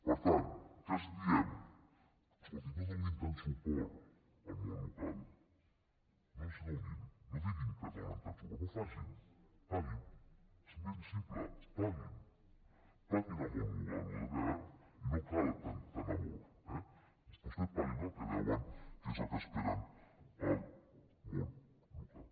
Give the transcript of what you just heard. per tant què els diem escoltin no donin tant suport al món local no els en donin no diguin que donen tant suport no ho facin paguin és ben simple paguin al món local el que deuen i no cal tant amor eh vostès paguin el que deuen que és el que espera el món local